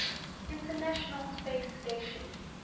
international space station